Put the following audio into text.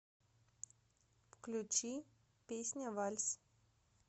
включи песня вальс